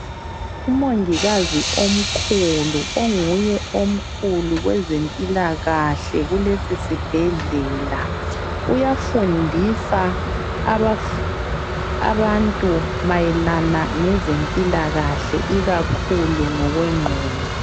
Umongikazi omkhulu onguye omkhulu kwezempilakahle kulesi sibhedlela. Uyafundisa abantu mayelana ngezempilakahle ikakhulu ngokwengqondo.